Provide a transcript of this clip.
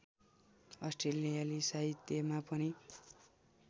अस्ट्रेलियाली साहित्यमा पनि